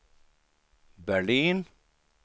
Berlin